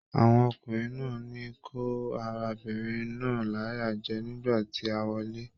Àwọn ọkùnrin náà ní kó arábìnrin náà láyà jẹ nígbà tí a wọle.